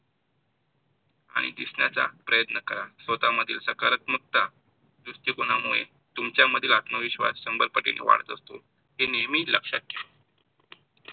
आणि दिसण्याचा प्रयत्न करा. स्वतःमधील सकारात्मकता दृष्टिकोनामुळे तुमच्या मधील आत्मविश्वास शंभर पटीने वाढत असते, हे नेहमी लक्षात घ्या.